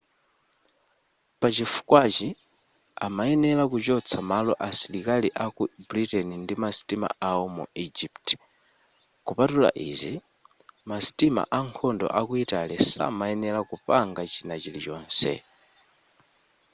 pachifukwachi amayenera kuchotsa malo asilikali aku britain ndi masitima awo mu egypt kupatula izi masitima ankhondo aku italy samayenera kupanga chinachilichonse